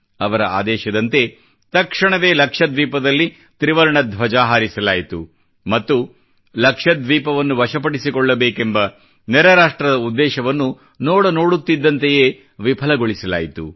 ಅವರ ಆದೇಶದಂತೆ ತಕ್ಷಣವೇ ಲಕ್ಷದ್ವೀಪದಲ್ಲಿ ತ್ರಿವರ್ಣ ಧ್ವಜ ಹಾರಿಸಲಾಯಿತು ಮತ್ತು ಲಕ್ಷದ್ವೀಪದವನ್ನು ವಶ ಪಡಿಸಿಕೊಳ್ಳಬೇಕೆಂಬ ನೆರೆ ರಾಷ್ಟ್ರದ ಉದ್ದೇಶವನ್ನು ನೋಡು ನೋಡುತ್ತಿದ್ದಂತೆಯೇ ವಿಫಲಗೊಳಿಸಲಾಯಿತು